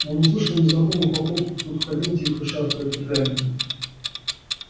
но он услышал незнакомую походку кто-то ходил тихо шаркая туфлями